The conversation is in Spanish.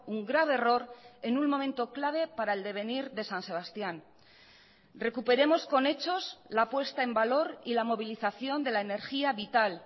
un grave error en un momento clave para el devenir de san sebastián recuperemos con hechos la puesta en valor y la movilización de la energía vital